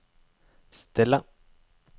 stille